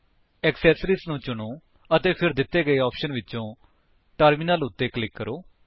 accessories ਨੂੰ ਚੁਣੋ ਅਤੇ ਫਿਰ ਦਿੱਤੇ ਗਏ ਆਪਸ਼ਨਸ ਵਿਚੋਂ ਟਰਮਿਨਲ ਉੱਤੇ ਕਲਿਕ ਕਰੋ